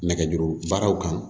Nɛgɛjuru baaraw kan